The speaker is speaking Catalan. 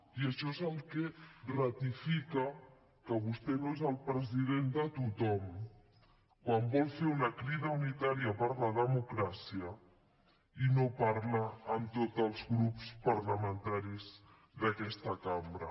i això és el que ratifica que vostè no és el president de tothom quan vol fer una crida unitària per la democràcia i no parla amb tots els grups parlamentaris d’aquesta cambra